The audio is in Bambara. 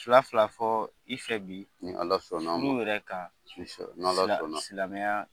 Fila fila fɔ i fɛ bi ni ala sɔnna a ma silamɛya